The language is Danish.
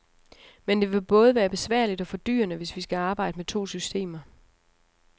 Men det vil både være besværligt og fordyrende, hvis vi skal arbejde med to systemer.